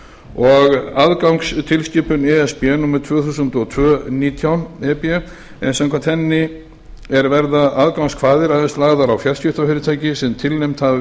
og aðgangstilskipun e s b númer tvö þúsund og tvö nítján e b en samkvæmt henni er verða aðgangskvaðir aðeins lagðar á fjarskiptafyrirtæki sem tilnefnd hafa